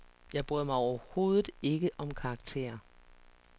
Jeg bryder mig overhovedet ikke om karakterer.